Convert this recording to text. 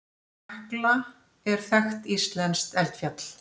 Hekla er þekkt íslenskt eldfjall.